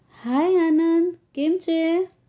hi Anand કેમ છે?